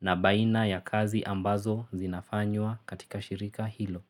na baina ya kazi ambazo zinafanywa katika shirika hilo.